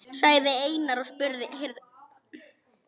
sagði Einar og spurði.